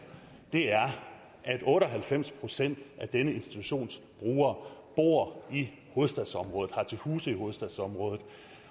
at otte og halvfems procent af denne institutions brugere bor i hovedstadsområdet og har til huse i hovedstadsområdet